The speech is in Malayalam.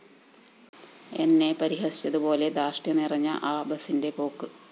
എന്നെ പരിഹസിച്ചതുപോലെ ധാര്‍ഷ്ട്യം നിറഞ്ഞ ആ ബസിന്റെ പോക്ക്